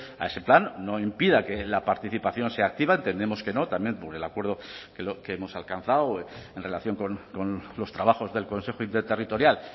a ese plan no impida que la participación sea activa entendemos que no también por el acuerdo que hemos alcanzado en relación con los trabajos del consejo interterritorial